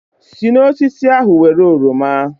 Si n'osisi ahụ Were oroma